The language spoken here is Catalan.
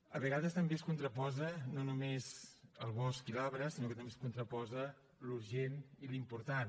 a vegades també es contraposa no només el bosc i l’arbre sinó que també es contraposa l’urgent i l’important